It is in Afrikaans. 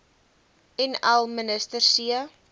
nl minister c